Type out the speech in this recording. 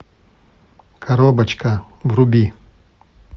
коробочка вруби